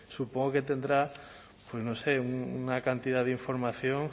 supongo que tendrá pues no sé una cantidad de información